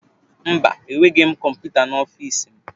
Mba, enweghị m kọmputa n'ọfịs m.